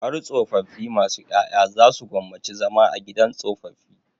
Har tsofaffi masu ƴaƴa za su gwammaci zama a gidan tsofaffi.